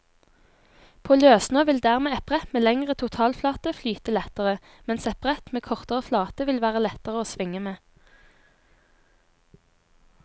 På løssnø vil dermed et brett med lengre totalflate flyte lettere, mens et brett med kortere flate vil være lettere å svinge med.